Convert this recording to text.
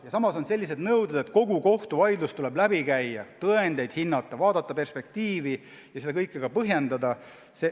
Ja samas on sellised nõuded, et kogu kohtuvaidlus tuleb läbi käia, tõendeid hinnata, vaadata perspektiivi ja seda kõike ka põhjendada.